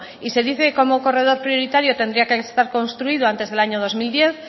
y se dice que como corredor prioritario tendría que estar construido antes del año dos mil diez